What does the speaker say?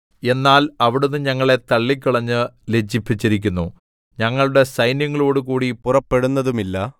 എന്നാൽ അവിടുന്ന് ഞങ്ങളെ തള്ളിക്കളഞ്ഞ് ലജ്ജിപ്പിച്ചിരിക്കുന്നു ഞങ്ങളുടെ സൈന്യങ്ങളോടുകൂടി പുറപ്പെടുന്നതുമില്ല